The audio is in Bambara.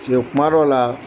Se kuma dɔw la